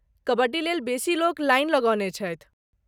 कबड्डी लेल बेसी लोक लाइन लगौने छथि।